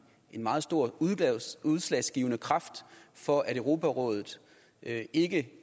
en meget stor udslagsgivende kraft for at europarådet ikke